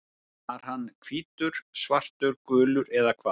Var hann hvítur, svartur, gulur eða hvað?